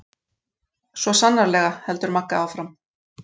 Svo sannarlega, heldur Magga áfram.